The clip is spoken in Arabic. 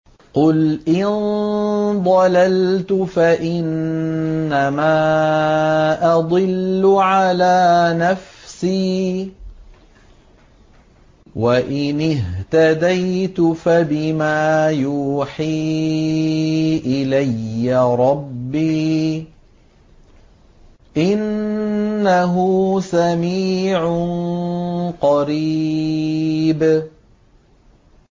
قُلْ إِن ضَلَلْتُ فَإِنَّمَا أَضِلُّ عَلَىٰ نَفْسِي ۖ وَإِنِ اهْتَدَيْتُ فَبِمَا يُوحِي إِلَيَّ رَبِّي ۚ إِنَّهُ سَمِيعٌ قَرِيبٌ